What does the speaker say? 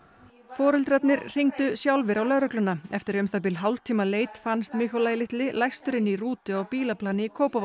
foreldrarnir hringdu sjálfir á lögregluna eftir um það bil hálftíma leit fannst litli læstur inni í rútu á bílaplani í Kópavogi